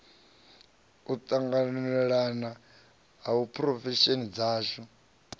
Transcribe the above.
u tanganelana ha phurofesheni dzashu